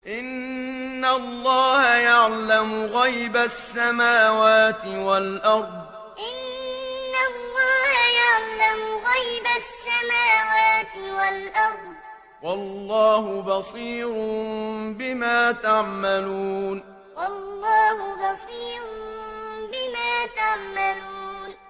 إِنَّ اللَّهَ يَعْلَمُ غَيْبَ السَّمَاوَاتِ وَالْأَرْضِ ۚ وَاللَّهُ بَصِيرٌ بِمَا تَعْمَلُونَ إِنَّ اللَّهَ يَعْلَمُ غَيْبَ السَّمَاوَاتِ وَالْأَرْضِ ۚ وَاللَّهُ بَصِيرٌ بِمَا تَعْمَلُونَ